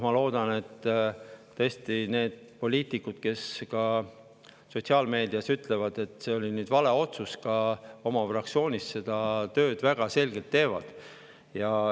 Ma loodan, et need poliitikud, kes sotsiaalmeedias ütlevad, et see oli vale otsus, ka oma fraktsioonis tõesti seda tööd teevad.